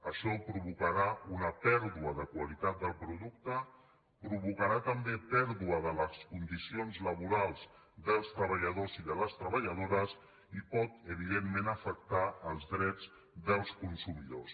això provocarà una pèrdua de qualitat del producte provocarà també pèrdua de les condicions laborals dels treballadors i de les treballadores i pot evidentment afectar els drets dels consumidors